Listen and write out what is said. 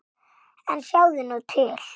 En sjáðu nú til!